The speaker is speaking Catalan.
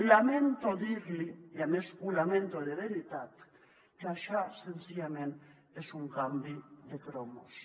lamento dir li i a més ho lamento de veritat que això senzillament és un canvi de cromos